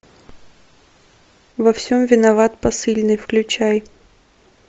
во всем виноват посыльный включай